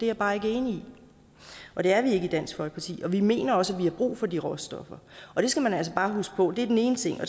jeg bare ikke enig i og det er vi ikke i dansk folkeparti vi mener også har brug for de råstoffer og det skal man altså bare huske på det er den ene ting